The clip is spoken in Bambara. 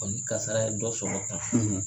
Ɔ ni kasara ye dɔ sɔrɔ